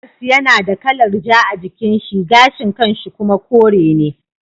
Karas yana da kalar ja a jikin shi gashin kan shi kuma kore ne.